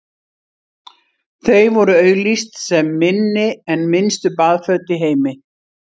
þau voru auglýst sem „minni en minnstu baðföt í heimi“